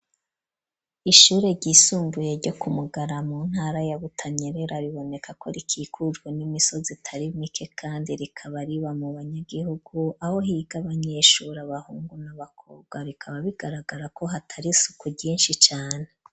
Ishure ryisumbuye, ryo ku Mugara, mu ntara ya Butanyerera, riboneka ko, rikikujwe n'imisozi, itari mike; kandi rikaba, riba mu banyagihugu, aho higa abanyeshuri, abahungu, n'abakobwa; rikaba, bigaragara ko, hatari isuku ryinshi cane.